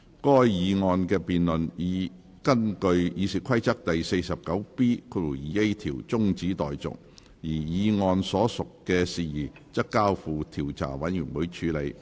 該議案的辯論已根據《議事規則》第 49B 條中止待續，而議案所述的事宜則交付調查委員會處理。